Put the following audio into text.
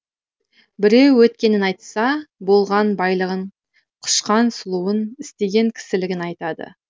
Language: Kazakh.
біреу өткенін айтса болған байлығын құшқан сұлуын істеген кісілігін айтады